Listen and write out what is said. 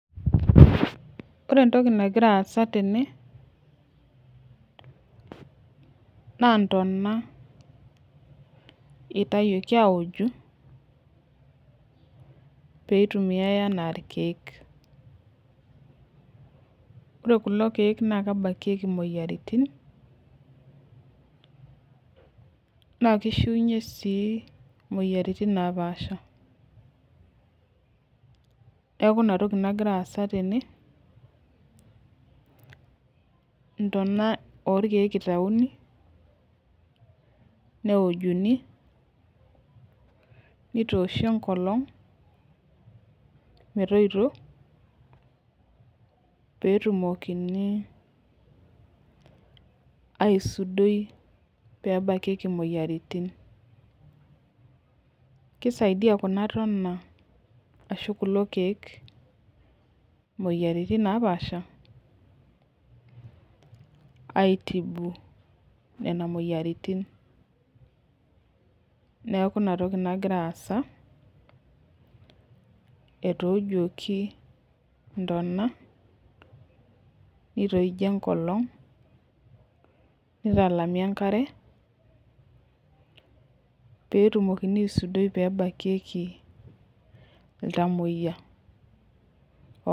Ore entoki nagira aasa tene na ntona itawuoki aoju peitumiai ana irkiek na kebakieki moyiaritin nakishiunye moyiaritin napaasha neaku inatoki nagira aasa tenw intona orkiek itauni neojuni nitooshi enkolong metoito petumokini aisudoi pebakieki moyiaritin kisaidia kunabtona ashu kulo kiek moyiaritin napaasha aitibu nona moyiaritin neaku inatoki nagira aasa etoojuoki niooshi enkolo nitalami enkare pebakikie ltamoyia